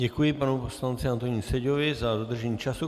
Děkuji panu poslanci Antonínu Seďovi za dodržení času.